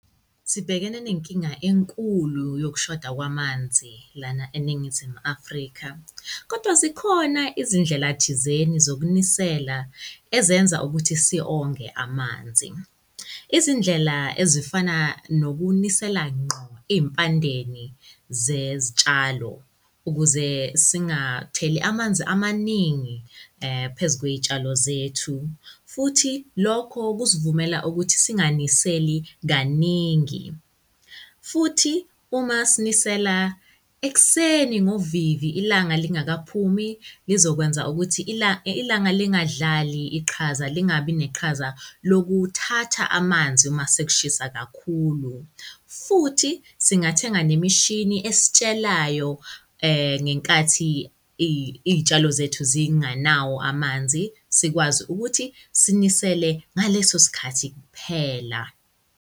Sibhekene nenkinga enkulu yokushoda kwamanzi lana eNingizimu Afrika, kodwa zikhona izindlela thizeni zokunisela ezenza ukuthi si-onge amanzi. Izindlela ezifana nokunisela ngqo iy'mpandeni zezitshalo ukuze singatheli amanzi amaningi, phezu kwey'tshalo zethu futhi lokho kusivumela ukuthi singaniseli kaningi. Futhi uma sinisela ekuseni ngovivi, ilanga lingakaphumi, lizokwenza ukuthi ilanga lingadlali iqhaza, lingabi neqhaza lokuthatha amanzi uma sekushisa kakhulu. Futhi singathenga nemishini esitshelayo, ngenkathi izitshalo zethu zingenayo amanzi, sikwazi ukuthi sinisele ngaleso sikhathi kuphela.